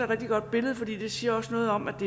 rigtig godt billede fordi det også siger noget om at